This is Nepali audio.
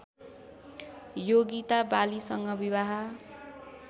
योगिता बालीसँग विवाह